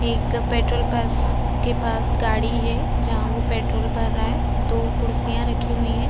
एक पेट्रोल पास के पास गाड़ी है जहाँ वो पेट्रोल भर रहा है दो कुर्सियाँ रखी हुई हैं।